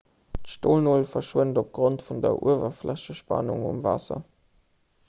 d'stolnol schwëmmt opgrond vun der uewerflächespannung um waasser